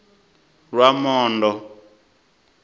lwamondo